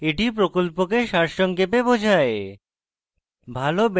এটি প্রকল্পকে সারসংক্ষেপে বোঝায়